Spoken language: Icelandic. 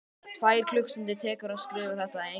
Tvær klukkustundir tekur að skrifa þetta eina bréf.